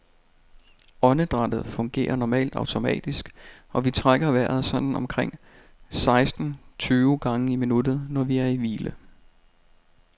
Åndedrættet fungerer normalt automatisk, og vi trækker vejret sådan omkring seksten tyve gange i minuttet, når vi er i hvile.